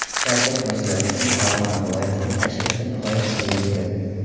Shavkat Mirziyoyevning Farg‘ona viloyatiga tashrifi nihoyasiga yetdi.